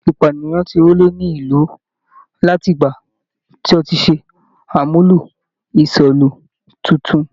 Ìpànìyàn ti rọlẹ̀ ní ìlú láti ìgbà tí wọ́n ti ṣe àmúlò ìṣọ́'lú titun.